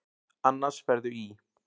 Annars ferðu í.